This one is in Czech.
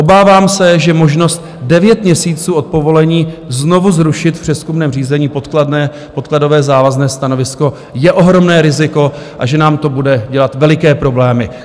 Obávám se, že možnost devět měsíců od povolení znovu zrušit v přezkumném řízení podkladové závazné stanovisko je ohromné riziko a že nám to bude dělat veliké problémy.